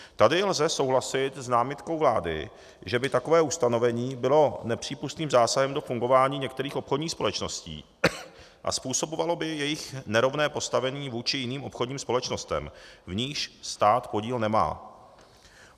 Tady lze souhlasit s námitkou vlády, že by takové ustanovení bylo nepřípustným zásahem do fungování některých obchodních společností a způsobovalo by jejich nerovné postavení vůči jiným obchodním společnostem, v nichž stát podíl nemá.